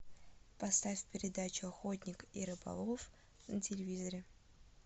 поставь передачу охотник и рыболов на телевизоре